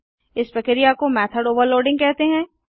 इस प्रक्रिया को मेथड ओवरलोडिंग कहते हैं